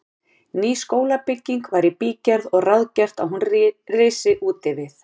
Ný skólabygging var í bígerð og ráðgert að hún risi útvið